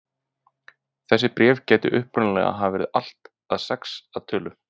Þessi bréf gætu upprunalega hafa verið allt að sex að tölu.